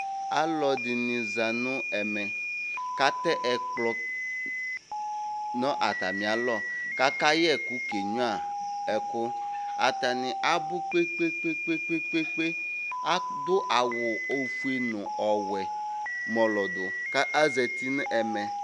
Alʋ ɛdini zanʋ ɛmɛ kʋ atɛ ɛkplɔ nʋ atami alɔ kʋ akayɛ ɛkʋ kenyua ɛkʋ atani abʋ kpe kpe kpe kpe kpe adʋ awʋ ofue nʋ ɔwʋɛ mɔlɔdʋ kʋ azeti nʋ ɛmɛ